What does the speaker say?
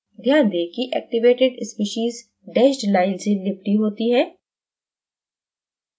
ध्यान दें कि activated species डैश्ड line से लिपटी होती हैं